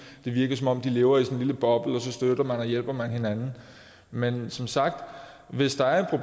det virker som om de lever i sådan en lille boble og så støtter man og hjælper man hinanden men som sagt hvis der er